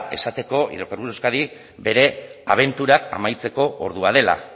esateko hidrocarburos de euskadi bere abentura amaitzeko ordua dela